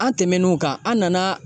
An tɛmɛn'o kan an nana.